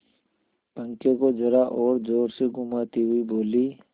पंखे को जरा और जोर से घुमाती हुई बोली